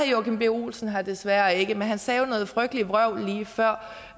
joachim b olsen her desværre ikke men han sagde jo noget frygteligt vrøvl lige før